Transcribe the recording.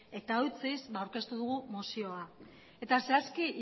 eta eutsiz ba aurkeztu dugu mozioa eta zehazki